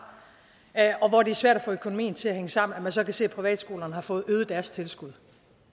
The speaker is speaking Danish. og hvor det er svært at få økonomien til at hænge sammen at man så kan se at privatskolerne har fået øget deres tilskud